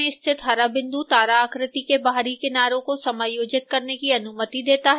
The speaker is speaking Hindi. मध्य में स्थित हरा बिंदु तारा आकृति के बाहरी किनारे को समायोजित करने की अनुमति देता है